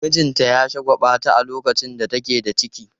Mijinta ya shagwaɓata a lokacin da take da ciki.